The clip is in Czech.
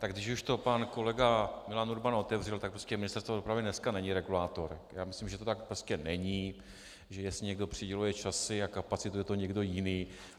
Tak když už to pan kolega Milan Urban otevřel, tak prostě Ministerstvo dopravy dneska není regulátor, já myslím, že to tak prostě není, že jestli někdo přiděluje časy a kapacitu, je to někdo jiný.